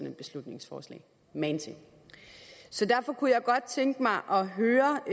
et beslutningsforslag magen til så derfor kunne jeg godt tænke mig at høre